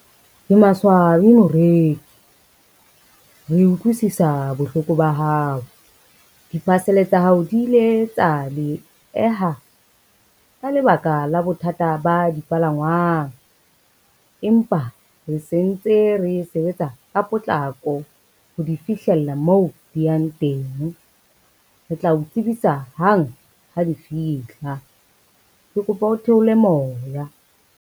Ke maswabi moreki, re utlwisisa bohloko ba hao. Di-parcel tsa hao di ile tsa dieha ka lebaka la bothata ba dipalangwang, empa re sentse re sebetsa ka potlako ho di fihlella moo di yang teng, re tla o tsebisa hang ha di fihla. Ke kopa ho theole moya.